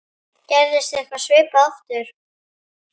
Gerist eitthvað svipað aftur?